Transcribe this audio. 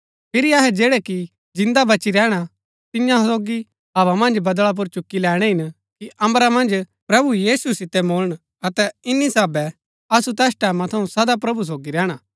फिरी अहै जैड़ै कि जिन्दा बची रैहणा तियां सोगी हवा मन्ज बदळा पुर चुक्की लैणैं हिन कि अम्बरा मन्ज प्रभु यीशु सितै मुळन अतै इन्‍नी साहबै असु तैस टैमां थऊँ सदा प्रभु सोगी रैहणा